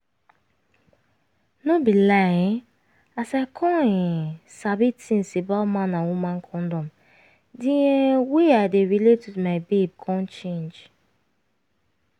no be lie um as i come um sabi tins about man and woman condom di um way i dey relate with my babe come change